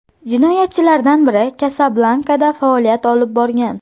Jinoyatchilardan biri Kasablankada faoliyat olib borgan.